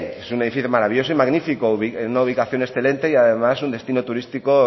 es un edificio maravilloso y magnífico en una ubicación excelente y además un destino turístico